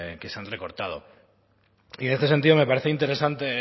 que se han recortado y en este sentido me parece interesante